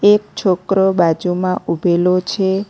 એક છોકરો બાજુમાં ઊભેલો છે.